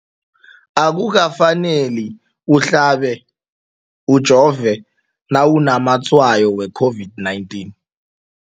Akuka faneli uhlabe, ujove nawu namatshayo we-COVID-19.